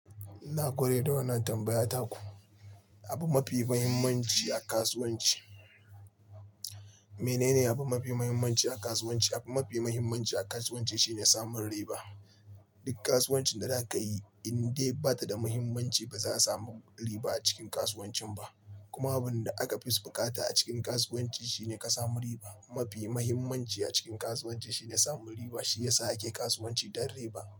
Na kula da wannan tambayar ta ku. Abu mafi muhimmanci a kasuwanci, menene abu mafi muhimmanci a kasuwanci? Abu mafi muhimmanci a kasuwanci shine samun riba. Duk kasuwancin da za ka yi in dai ba ta da muhimmanci, ba za a samu riba a cikin kasuwancin ba. Kuma abin da aka fi buƙata a cikin kasuwanci shine ka samu riba. Mafi muhimmanci a cikin kasuwanci shine samun riba, shi ya sa ake kasuwanci don riba.